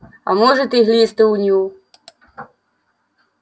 а может и глисты у него